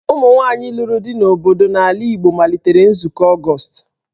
Ụmụ nwaanyị lụrụ di n'obodo n'ala Igbo malitere Nzukọ Ọgọst.